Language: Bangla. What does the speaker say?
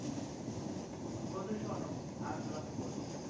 বন্ধু শোনো আমি তোমাকে বলি